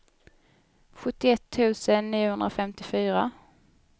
sjuttioett tusen niohundrafemtiofyra